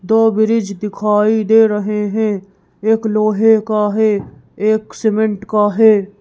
दो ब्रिज दिखाई दे रहे हैं एक लोहे का है एक सीमेंट का है।